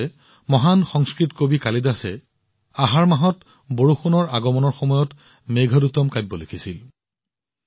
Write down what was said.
দৰাচলতে মহান সংস্কৃত কবি কালিদাসে আহাৰ মাহৰ পৰা বৰষুণৰ আগমনৰ সময়ত মেঘদূতম লিখিছিল